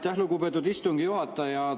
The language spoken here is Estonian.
Aitäh, lugupeetud istungi juhataja!